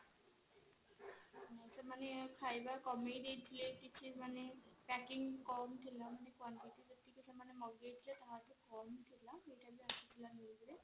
ଖାଇବା କମେଇ ଦେଇଥିଲେକିଛି ମାନେ packing କମ ଥିଲା ସେମାନେ ମଗେଇଥିଲେ କିନ୍ତୁ ସେଥିରେ କମ ଥିଲା